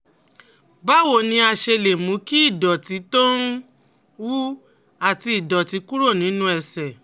Báwo ni a ṣe lè mú kí ìdọ̀tí tó ń wú àti ìdọ̀tí kúrò nínú ẹsẹ̀?